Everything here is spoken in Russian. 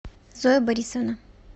зоя борисовна